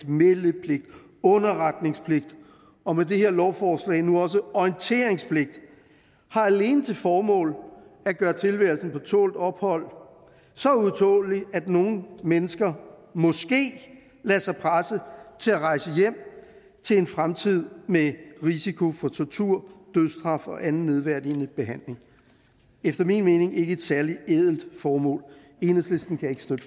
meldepligt underretningspligt og med det her lovforslag nu også orienteringspligt har alene til formål at gøre tilværelsen på tålt ophold så utålelig at nogle mennesker måske lader sig presse til at rejse hjem til en fremtid med risiko for tortur dødsstraf og anden nedværdigende behandling efter min mening ikke et særlig ædelt formål enhedslisten kan ikke støtte